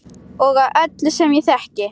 Og af öllum sem ég þekki.